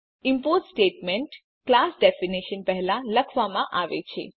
import statement class definition પહેલા લખવામાં આવેલ છે